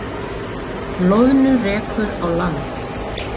Loðnu rekur á land